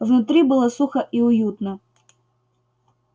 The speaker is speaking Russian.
внутри было сухо и уютно